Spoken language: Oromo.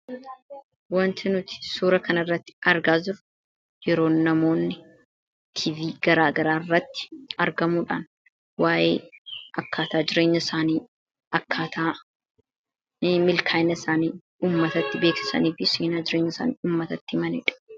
Wanti nuti suura kan irratti argaa jirru yeroo namoonni tv garaa garaa irratti argamuudhaan waa'ee akkaataa jireenya saanii akkaataani milkaayina isaanii ummatatti beekesanii fi seenaa jireenya isaanii ummatatti himanidha.